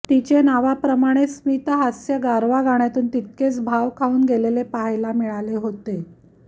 तीचे नावाप्रमाणेच स्मित हास्य गारवा गाण्यातून तितकेच भाव खाऊन गेलेले पाहायला मिळाले होते